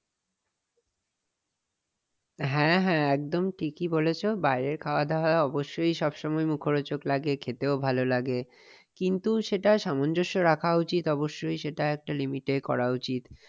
হ্যাঁ হ্যাঁ একদম ঠিকঐ বলেছ বাইরের খাওয়া-দাওয়া অবশ্যই সব সময় মুখরোচক লাগে খেতেও ভালো লাগে। কিন্তু সেটা সামঞ্জস্য রাখা উচিত অবশ্যই । সেটা একটা limit এ করা উচিত।